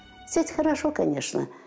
сеть хорошо конечно